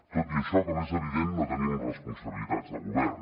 tot i això com és evident no tenim responsabilitats de govern